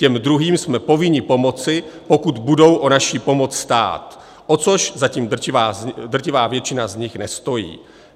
Těm druhým jsme povinni pomoci, pokud budou o naši pomoc stát, o což zatím drtivá většina z nich nestojí.